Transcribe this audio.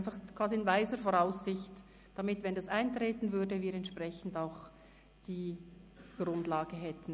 Dies quasi in weiser Voraussicht, damit wir, wenn dieser Fall eintreten würde, die entsprechende Grundlage hätten.